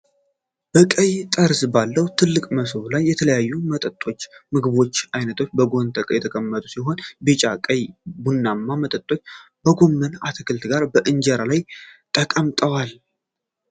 በቀይ ጠርዝ ባለው ትልቅ መሶብ ላይ የተለያዩ ወጦችና የምግብ አይነቶች በጎን የተቀመጡ ሲሆን፤ ቢጫ፣ ቀይና ቡናማ ወጦች ከጎመንና ከአትክልት ጋር በእንጀራ ላይ ተቀምጠዋል ።